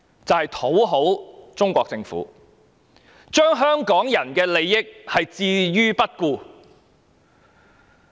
就是要討好中國政府，置香港人的利益於不顧。